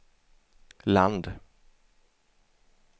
land